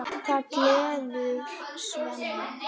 Það gleður Svenna.